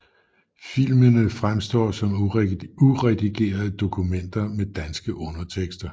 Filmene fremstår som uredigerede dokumenter med danske undertekster